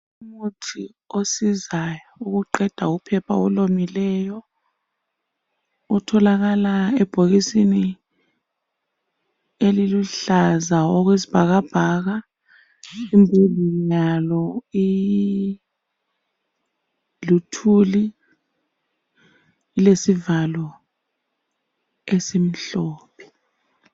Umuthi osizayo ukuqeda uphepha olomileyo otholakala ebhokisini eliluhlaza okwesibhakabhaka luthuli lezivalo ezimhlophe.